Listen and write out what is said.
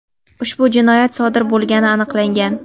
ushbu jinoyat sodir bo‘lgani aniqlangan.